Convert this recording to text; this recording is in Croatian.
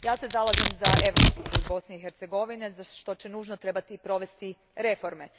Zalažem se za europski put Bosne i Hercegovine za što će nužno trebati provesti reforme.